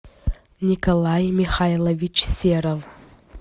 николай михайлович серов